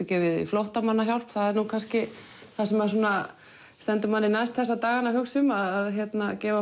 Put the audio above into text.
gefið í flóttamannahjálp það er nú kannski það sem svona stendur manni næst þessa dagana að hugsa um að gefa